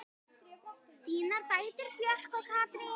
Þínar dætur, Björg og Katrín.